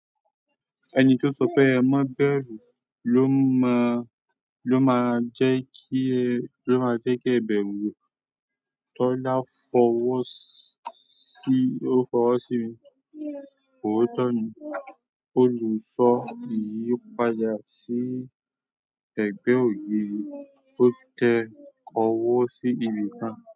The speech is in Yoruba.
Ẹni tó sọ pé ẹ mọ bẹ̀rù lo mọ ló máa jẹ́ kí ẹ, ló máa jẹ́ kí ẹ bẹ̀rù. Tọ́lá fọwọ́ sí, ó fọwọ́ sí mi. Ootọ̀ ni. O padà si ẹgbẹ ogiri. O tẹ ọwọ si ibi kan.